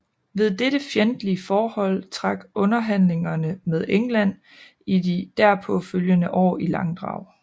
Ved dette fjendtlige forhold trak underhandlingerne med England i de derpå følgende år i langdrag